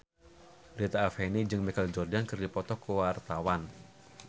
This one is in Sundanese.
Rita Effendy jeung Michael Jordan keur dipoto ku wartawan